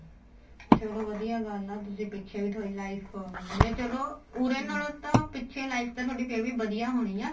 ਚਲੋ ਵਧੀਆ ਗੱਲ ਏ ਤੁਸੀਂ ਪਿੱਛੇ ਵੀ ਤੁਹਾਡੀ life ਇਹ ਚਲੋ ਉਰੇ ਨਾਲੋ ਤਾਂ ਪਿੱਛੇ life ਤਾਂ ਤੁਹਾਡੀ ਫੇਰ ਵੀ ਵਧੀਆ ਹੋਣੀ ਏ